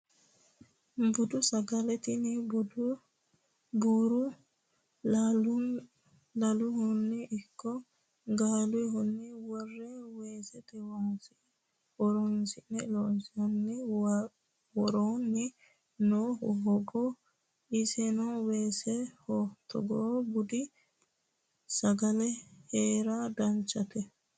Budu sagale tini buuro laluniha ikko galuniha wore weesete waasa horonsi'ne loonsanni worooni noohu hogaho isino weeseho togoo budu sagale heera danchate.